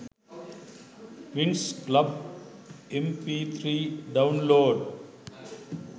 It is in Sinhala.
winx club mp3 download